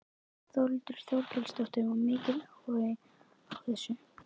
Þórhildur Þorkelsdóttir: Var mikill áhugi á þessu?